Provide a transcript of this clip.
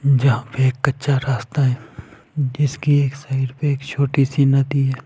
जहाँ पे एक कच्चा रास्ता है जिसके एक साइड पे एक छोटी सी नदी है ।